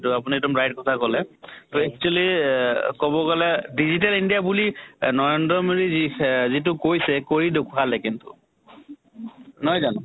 আইটো আপুনি এক্দম right কথা কলে। তʼ actually এহ কʼব গʼলে digital india বুলি নৰেন্দ্ৰ মোদী যি সে যিটো কৈছে কৰি দেখোৱালে কিন্তু। নহয় জানো?